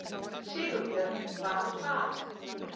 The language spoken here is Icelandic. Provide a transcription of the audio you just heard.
Sigurbjörn var að fara.